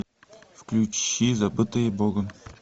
включи забытые богом